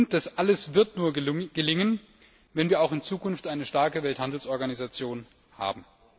Das alles wird nur gelingen, wenn wir auch in Zukunft eine starke Welthandelsorganisation haben.